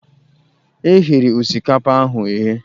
E ghere osikapa ahụ eghe.